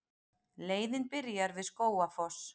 Leiðin byrjar við Skógafoss.